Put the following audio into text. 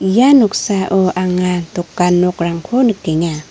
ia noksao anga dokan nokrangko nikenga.